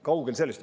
Kaugel sellest.